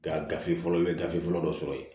Ka gafe fɔlɔ i bɛ gafe fɔlɔ dɔ sɔrɔ yen